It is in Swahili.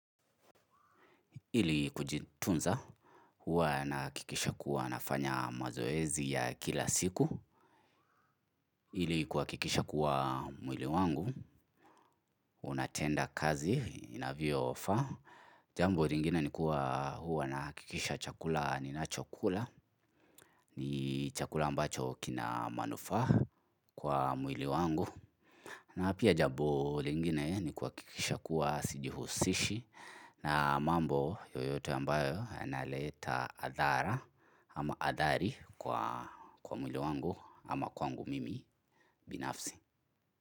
Ili kujitunza huwa nahakikisha kuwa nafanya mazoezi ya kila siku ili kuhakikisha kuwa mwili wangu unatenda kazi inavyofaa. Jambo lingine ni kuwa huwa nahakikisha chakula ninachokula. Ni chakula ambacho kina manufaa kwa mwili wangu. Na pia jambo lingine ni kuhakikisha kuwa sijihusishi. Na mambo yoyote ambayo yanaleta adhara ama adhari kwa mwili wangu ama kwangu mimi binafsi.